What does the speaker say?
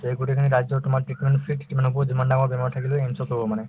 তে এই গোটেইখিনি ৰাজ্য তোমাৰ কিমান হব যিমান ডাঙৰ বেমাৰ থাকিলেও সেইখিনি solve হব মানে